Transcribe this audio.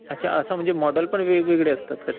अच्छा. असं म्हणजे मॉडेल पण वेगवेगळे असतात का ह्याच्यात?